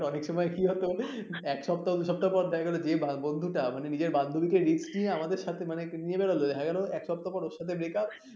অনেক সময় কি হতো এক সপ্তাহ দুই সপ্তাহ পর দেখা গেল যে বন্ধুটা মানে নিজের বান্ধবীকে risk নিয়ে আমাদের সাথে মানে নিয়ে বেরোলো দেখা গেল এক সপ্তাহ পর ওর সাথে breakup